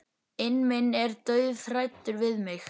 inn minn er dauðhræddur við mig.